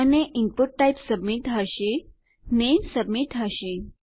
અને input type submit હશે name submit હશે